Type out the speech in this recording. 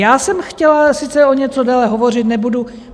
Já jsem chtěla sice o něco déle hovořit, nebudu.